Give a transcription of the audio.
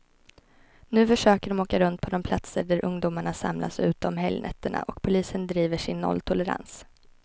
Nu försöker de åka runt på de platser där ungdomarna samlas ute om helgnätterna, och polisen driver sin nolltolerans.